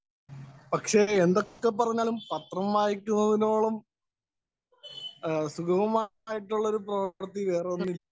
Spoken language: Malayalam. സ്പീക്കർ 1 പക്ഷേ, എന്തൊക്കെ പറഞ്ഞാലും പത്രം വായിക്കുന്നതിനോളം സുഗമമായിട്ടുള്ള ഒരു പ്രവര്‍ത്തി വേറൊന്നിനും ഇല്ല.